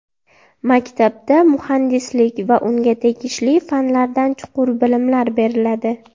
Maktabda muhandislik va unga tegishli fanlardan chuqur bilimlar beriladi.